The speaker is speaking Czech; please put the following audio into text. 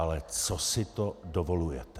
Ale co si to dovolujete?!